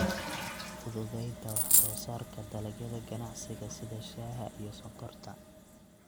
Fududeynta wax soo saarka dalagyada ganacsiga sida shaaha iyo sonkorta.